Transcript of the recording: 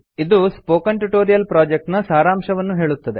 ಇದು spoken tutorial project ನ ಸಾರಾಂಶವನ್ನು ಹೇಳುತ್ತದೆ